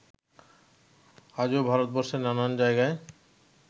আজো ভারতবর্ষের নানান জায়গায়